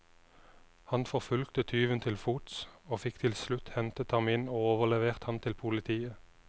Han forfulgte tyven til fots, og fikk til slutt hentet ham inn og overlevert ham til politiet.